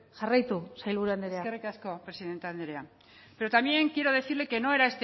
jarraitu sailburu andrea eskerrik asko presidente andrea pero también quiero decirle que no era